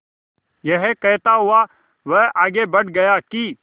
यह कहता हुआ वह आगे बढ़ गया कि